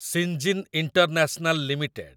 Syngene international limited